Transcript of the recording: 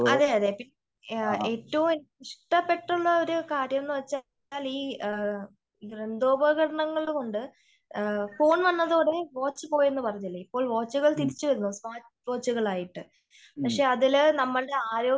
അതേ അതേ ഏറ്റവും ഇഷ്ടപ്പെട്ടുള്ള ഒരു കാര്യം എന്ന് വച്ചാ ഈ യന്ത്ര ഉപകരണങ്ങൾ കൊണ്ട് ഫോൺ വന്നത് അതേ വാച്ച് പോയെന്ന് പറഞ്ഞില്ലേ? വാച്ചുകൾ തിരിച്ചു വരുന്നു വാച്ചുകളായിട്ട് പക്ഷേ അതില് നമ്മളുടെ ആരോഗ്യ